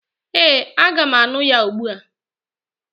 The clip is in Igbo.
Ee, aga m aṅụ ya ugbua.